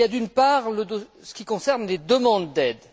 Il y a, d'une part, ce qui concerne les demandes d'aide.